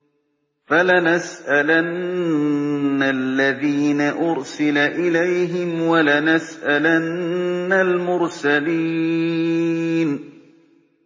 فَلَنَسْأَلَنَّ الَّذِينَ أُرْسِلَ إِلَيْهِمْ وَلَنَسْأَلَنَّ الْمُرْسَلِينَ